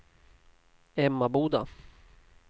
Emmaboda